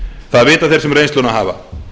það vita þeir sem reynsluna hafa